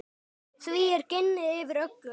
Því er ginið yfir öllu.